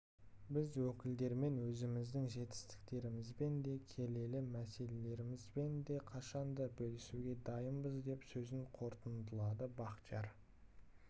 біз өкілдерімен өзіміздің жетістіктерімізбен де келелі мәселелерімізбен де қашанда бөлісуге дайынбыз деп сөзін қорытындылады бақтияр